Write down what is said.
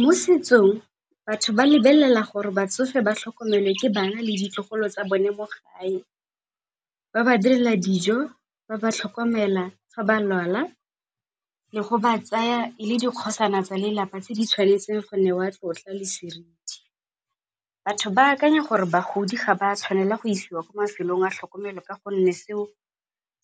Mo setsong batho ba lebelela gore batsofe ba tlhokomele ke bana le ditlogolo tsa bone mo gae, ba ba direla dijo, ba ba tlhokomela fa ba lwala le go ba tsaya le dikgosana tsa lelapa tse di tshwanetseng go ne wa tlotla le seriti. Batho ba akanya gore bagodi ga ba tshwanela go isiwa ko mafelong a tlhokomelo ka gonne seo